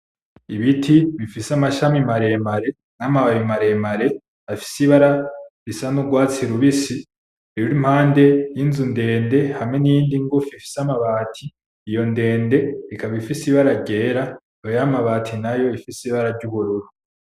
Ibiti bifise amashami maremare, n'amababi maremare afise ibara risa n'urwatsi rubisi ruri impande yinzu ndende hamwe n'iyindi ngufi ifise amabati, iyo ndende ikaba ifise ibara ryera, iyo y'amabati nayo ikaba ifise ibara ry'ubururu.